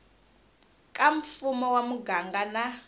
ka mfumo wa muganga na